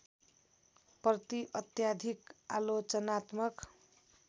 प्रति अत्याधिक आलोचनात्मक